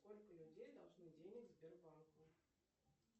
сколько людей должны денег сбербанку